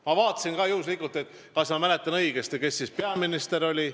Ma vaatasin ka, et kas ma mäletan õigesti, kes siis peaminister oli.